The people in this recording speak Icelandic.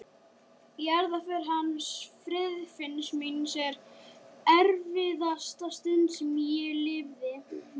Jarðarförin hans Friðfinns míns er erfiðasta stund sem ég lifði.